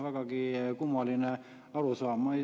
Vägagi kummaline arusaam.